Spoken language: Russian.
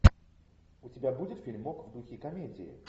у тебя будет фильмок в духе комедии